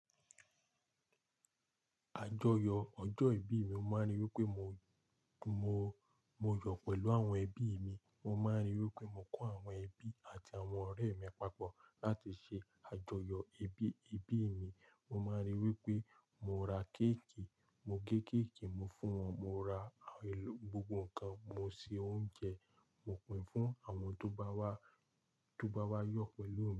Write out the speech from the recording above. Àjọyọ̀ ọjọ́ ìbíi mi mo máa ń rí wí pé mo, mo, mo yọ̀ pẹ̀lú àwọn ẹbí mi. Mo máa ń ri wí pé mo kó àwọn ẹbí àti àwọn ọ̀rẹ́ mi papọ̀ láti ṣe àjọyọ̀ ìbí, ìbí mi. Mo máa ń rí i wí pé mo ra kéèkì, mo gé kéèkì, mo fún wọn, mo ra àwọn elo gbogbo nǹkan, mo se oúnjẹ, mò pin fún àwọn tó bá wá, tó bá wá yọ̀ pẹ̀lú mi.